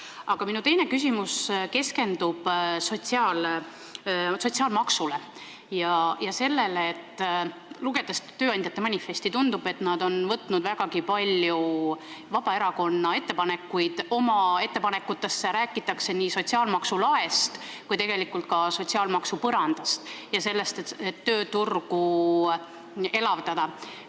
Aga minu teine küsimus keskendub sotsiaalmaksule ja sellele, et tööandjate manifesti lugedes tundub, et nad on vägagi palju Vabaerakonna ettepanekuid oma ettepanekutesse võtnud: räägitakse nii sotsiaalmaksu laest kui ka sotsiaalmaksu põrandast ja sellest, et tööturgu elavdada.